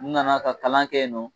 N nana ka kalan kɛ yen nɔ